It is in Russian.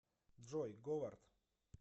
джой говард